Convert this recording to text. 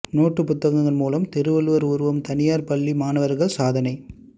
நோட்டுப் புத்தகங்கள் மூலம் திருவள்ளுவா் உருவம் தனியாா் பள்ளி மாணவா்கள் சாதனை